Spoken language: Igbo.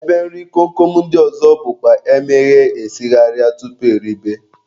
Ebe nri kom kom ndị ọzọ bụkwa emeghee esigharịa tupu eribe